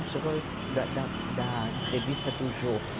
Não chegou da, da, da entrevista do Jô.